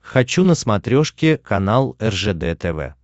хочу на смотрешке канал ржд тв